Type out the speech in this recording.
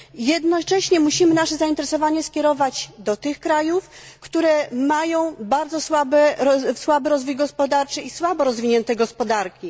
Jednocześnie musimy skierować nasze zainteresowanie w kierunku tych krajów, które mają bardzo słaby rozwój gospodarczy i słabo rozwinięte gospodarki.